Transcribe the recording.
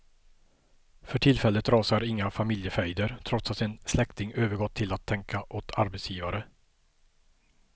För tillfället rasar inga familjefejder, trots att en släkting övergått till att tänka åt arbetsgivare.